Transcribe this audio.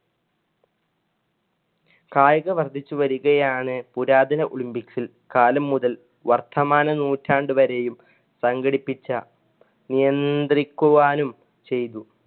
കായിക വർധിച്ചുവരുകയാണ് പുരാതന olympics ല്‍ കാലം മുതൽ വർത്തമാന നൂറ്റാണ്ട് വരെയും സംഘടിപ്പിച്ച നിയന്ത്രിക്കുവാനും ചെയ്തു